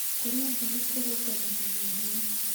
Kũrĩa mbegũ kũrũngagĩrĩrĩa hinya